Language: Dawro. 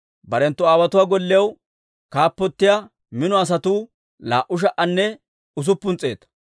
Barenttu aawotuwaa gollew kaappotiyaa mino asatuu laa"u sha"anne usuppun s'eeta.